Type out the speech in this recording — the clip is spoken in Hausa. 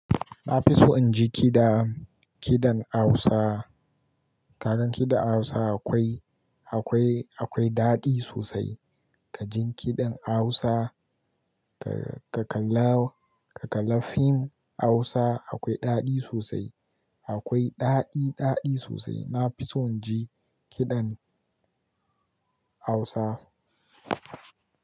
Na fi so in ji kiɗa, kiɗan Hausa. Karan kiɗan Hausa akwai, akwai, akwai daɗi sosai. Ka jin kiɗan Hausa, ka, ka kalla, ka kalla fim Hausa akwai daɗi sosai. Akwai ɗaɗi, ɗaɗi sosai. Na fi son ji kiɗan Hausa.